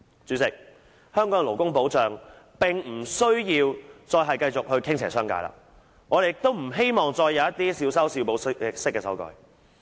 主席，香港的勞工保障並不需要繼續傾斜商界，我們亦不希望再有一些小修小補式的修改。